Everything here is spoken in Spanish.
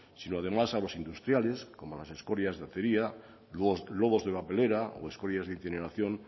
sino además a los industriales como las escorias de acería logos de papelera o escorias de incineración